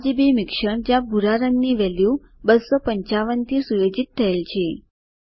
RGB મિશ્રણ જ્યાં ભૂરા રંગની વેલ્યુ 255 થી સુયોજિત થયેલ છે